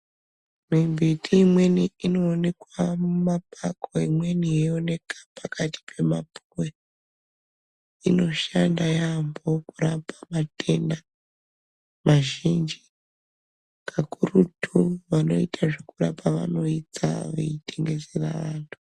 Imwe mbiti imweni yaionekwa mumapako imweni yoonekwa pakati inoshanda yambo kurapa matenda mazhinji kakurutu vanoita zvekurapa vanoitsa veirapa.